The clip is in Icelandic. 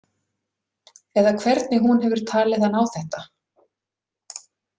Eða hvernig hún hefur talið hann á þetta.